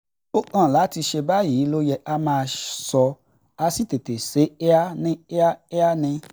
ó kàn láti se báyìí ló yẹ ká máa sọ ká sì tètè se é kíá ní kíákíá ni